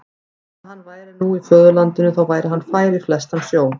Bara að hann væri nú í föðurlandinu, þá væri hann fær í flestan sjó.